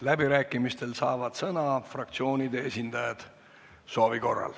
Läbirääkimistel saavad soovi korral sõna fraktsioonide esindajad.